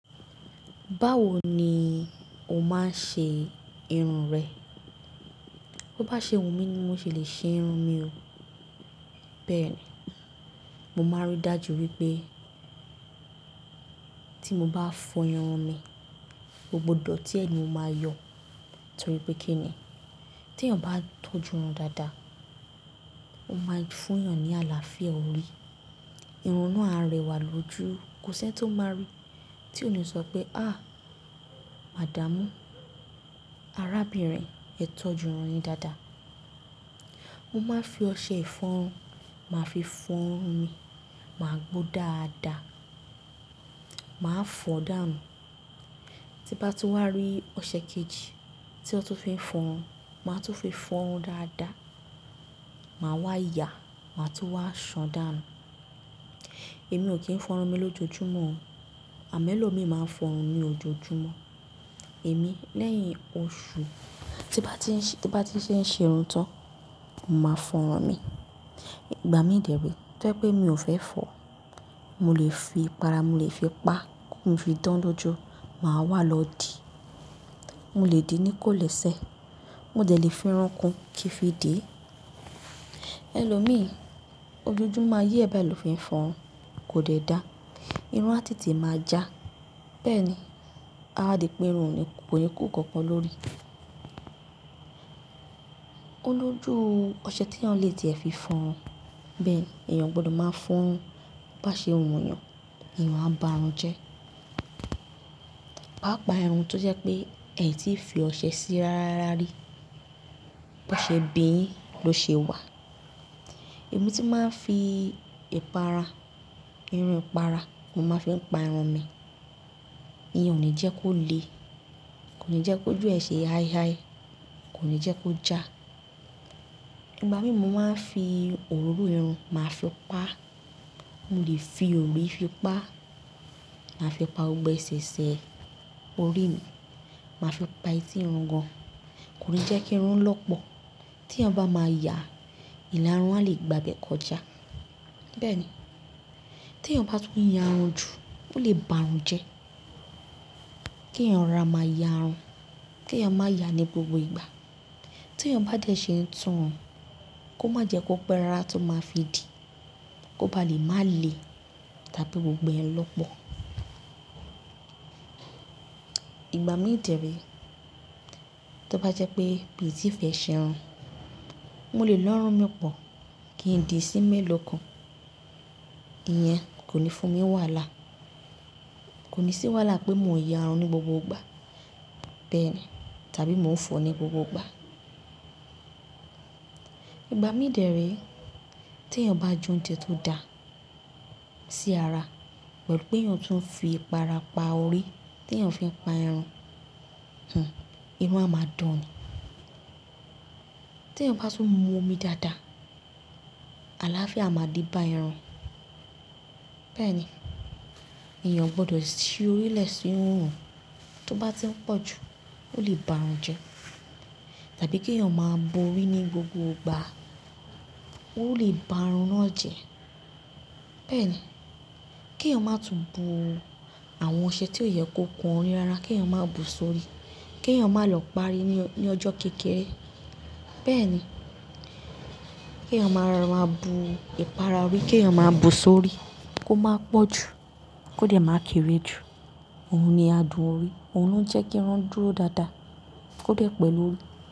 Báwo ni o máa ń ṣe irun rẹ? Ó bá ṣe wù mí ni mo ṣe le ṣe irun mi o. Bẹ́ẹ̀ni, mo máa ń rí dájú wípé tí mo bá fọ irun mi, ó gbọdọ̀ tí ẹ̀ ni mo máa yọ. Nítorí pé kí ni? Tí èèyàn bá tọ́ ju irun dáadáa, ó máa fún èèyàn ní àlàáfíà orí. Irun náà á rẹwà lójú. Kò sí ẹni tó máa rí tí òní sọ pé "màdámú, arábìnrin, ẹ tọ́ ju irun yín dáadáa." Mo máa ń fi ọṣẹ ìfọrun máa fi fọ irun mi, màá gbó dáadáa, màá fọ dáànu tí bá tún wá rí ọ̀sẹ̀ kejì tí ó tún fi ń fọ irun, màá tún fi fọ irún dáadáa. Màá wá yàa, màá tún wá ṣàn dáànu. Èmi ò kí ń fọ irun mi lójoojúmọ́ o. Àmẹ́lọ̀ mi máa ń fọ irun ni ojoojúmọ́. Èmi lẹ́yìn oṣù, tí bá ti ṣe ń ṣe irun tán, mo máa fọ irun mi. Ìgbà mí dẹ̀ re tó jẹ́ pé mi ò fẹ́ fọ, mo lè fi ìpara, mo lè fi pá, kii fi dan lójú, màá wá lò di. Mo lè dì ní kó lè sẹ. Mo dẹ̀ lè fi irun kún kíí fi dìí, ẹlòmí ojoojúmọ́ ayé ẹ báyìí ló fẹ́ f'ọrun kò dẹ̀ dáa. Irun á tètè máa já. Bẹ́ẹ̀ ni, a wá di pé irun ni kò ní kún ǹkan kan lórí. Ó lójú ọṣẹ tí èèyàn le ti ẹ̀ fi fọ irun. Bẹ́ẹ̀ ni, èèyàn ogbọdọ̀ máa fọ irun. Bá ṣe wù èèyàn, èèyàn á bá irun jẹ́. Pa á pa irun tó jẹ́ pé ẹ tí fi ọṣẹ sí í rárárá rí. Bá ṣe bíyín ló ṣe wà. Èmi tí màá ń fi ìpara, irun ìpara, mo máa fi ń pa irun mi. Iyan o ní jẹ́ kó le, kò ní jẹ́ kójù ẹ sẹ̀ ai ai, kò ní jẹ́ kó já. Ìgbà mí màá ń fi òróró irun, màá fi pa á. Mo lè fi òri fi pa á. Màá fi pa gbogbo ẹ́ṣẹ̀ṣẹ̀ orí mi. Màá fi pa etí irun gan. Kò ní jẹ́ kí irun lọ́pọ̀. Tí èèyàn bá máa yàa, ìlà irun a lè gba bẹ̀ kọjá. Bẹ́ẹ̀ ni, tí èèyàn bá tún ya irun jù, ó lè bá irun jẹ́. Kí èèyàn rora máa yaa irun, kí èèyàn máa yá a ní gbogbo ìgbà. Tí èèyàn bá dẹ̀ ṣe tún irun, kó má jẹ́ kó pẹ́ rárá tó máa fi dìí. Kó ba lè má lè, tàbí gbogbo ẹ lọ́pọ̀. Ìgbà mí dẹ̀ re tó bá jẹ́ pé mi tí ì fẹ́ ṣe irun, mo lè lo irùn mi pọ̀, kí n dì í sí mẹ́lọ̀ kan. Iyẹn kò ní fún mi wàhálà. Kò ní sí wàhálà pé mo yá irun ní gbogbo ìgbà. Bẹ́ẹ̀ ni, tàbí mò ń fọ ní gbogbo ìgbà. Ìgbà mí dẹ̀ re tí èèyàn bá jẹ oúnjẹ tó da sí ara pẹ̀lú pé èèyàn tún ń fi ìpara pa orí tí èèyàn fi ń pa irun, irun a máa dán ni tí èèyàn bá tún mu omi dáadáa, àlàáfíà a máa dì bá irun. Bẹ́ẹ̀ ni, èèyàn ogbọdọ̀ si orí lẹ̀ sí irun. Tó bá ti ń pọ̀ jù, ó lè bá irun jẹ́. Tàbí kí èèyàn máa bo orí ní gbogbo ìgbà, ó lè bá irun náà jẹ́. Bẹ́ẹ̀ ni, kí èèyàn máa tún bu àwọn ọṣẹ tí ó yẹ kó kan orí rárá, kí èèyàn máa bù sí orí. Kí èèyàn máa lọ parí ní ọjọ́ kékeré. Bẹ́ẹ̀ ni, kí èèyàn maa rora máa bu ìpara orí, kí èèyàn máa bù sí orí kó máa pọ̀ jù, kó dẹ̀ máa kéré jù. Ohun ni adùn orí, ohun ló ń jẹ́ kí irun dúró dáadáa, kó dẹ̀ pẹ̀lú lórí.